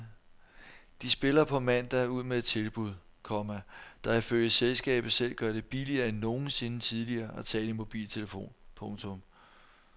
De spiller på mandag ud med et tilbud, komma der ifølge selskabet selv gør det billigere end nogensinde tidligere at tale i mobiltelefon. punktum